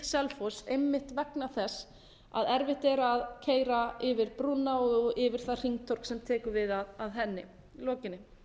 selfoss einmitt vegna þess að erfitt er að keyra yfir brúna og yfir það hringtorg sem tekur við að henni lokinni